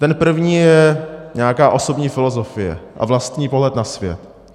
Ten první je nějaká osobní filozofie a vlastní pohled na svět.